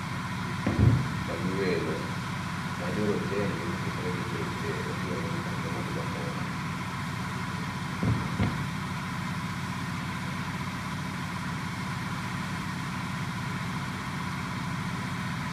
Magi welo ma jorotenge mokikore gi jo rochere mobiro neno kwonde mag lombo wang'.